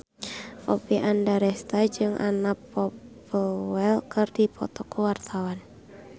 Oppie Andaresta jeung Anna Popplewell keur dipoto ku wartawan